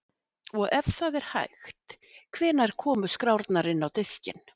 Og ef það er hægt, hvenær komu skrárnar inn á diskinn?